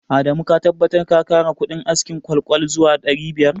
Adamu ka tabbatar ka kara kudin askin ƙwal-ƙwal zuwa ɗari biyar